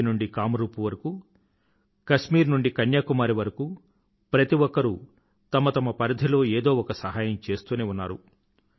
కచ్ నుండి కామ్ రూప్ వరకూ కశ్మీరు నుండీ కన్యాకుమారీ వరకూ ప్రతిఒక్కరూ తమ తమ పరిధిలో ఏదో ఒక సహాయం చేస్తూనే ఉన్నారు